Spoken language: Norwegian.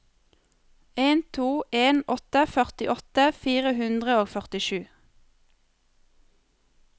en to en åtte førtiåtte fire hundre og førtisju